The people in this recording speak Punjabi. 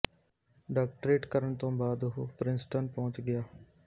ਡਾਕਟਰੇਟ ਕਰਨ ਤੋਂ ਬਾਅਦ ਉੁਹ ਪਰਿੰਸਟਨ ਪਹੁੰਚ ਗਿਆ